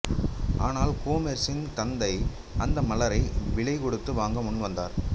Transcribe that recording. ஆனால் சோமர்சின் தந்தை அந்த மலரை விலை கொடுத்து வாங்க முன் வந்தார்